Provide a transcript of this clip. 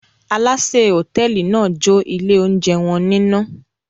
Alásè hòtẹ́ẹ́lì náà jó ilé-oúnjẹ wọn níná.